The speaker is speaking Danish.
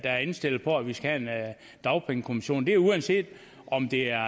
er indstillet på at vi skal have en dagpengekommission det er uanset om det er